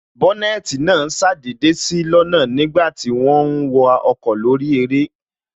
Bónètī náà ṣàdédé sí lọ́nà nígbàti wọ́n ń wa ọkọ̀ lórí eré